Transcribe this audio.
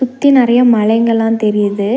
சுத்தி நெறய மலைங்க எல்லா தெரியுது.